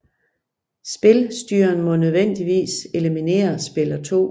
Spilstyreren må nødvendigvis eliminerer spiller 2